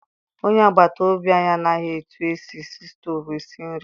Onye agbata obi anyị amaghị etu esi eji stovu esi nri.